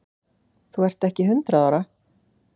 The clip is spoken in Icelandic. Þú ert ekki hundrað ára!